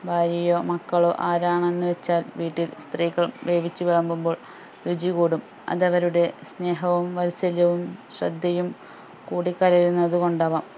ഭാര്യയോ മക്കളോ ആരാണെന്ന് വെച്ചാൽ വീട്ടിൽ സ്ത്രീകൾ വേവിച്ച് വിളമ്പുമ്പോൾ രുചി കൂടും അത് അവരുടെ സ്നേഹവും വാത്സല്യവും ശ്രദ്ധയും കൂടി കലരുന്നത് കൊണ്ടാവാം